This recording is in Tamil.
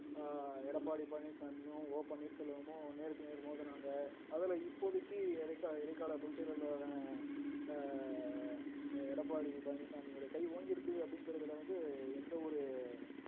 ஆஹ் எடப்பாடி பழனிச்சாமியும் ஓ பன்னீர்செல்வமும் நேருக்கு நேர் மோதினாங்க அதுல இப்போதைக்கு இடைக்கால இடைக்கால பொதுச்செயலாளரான ஆஹ் எடப்பாடி பழனிச்சாமியோட கை ஓங்கியிருக்கு அப்படிங்கறதுல வந்து எந்த ஒரு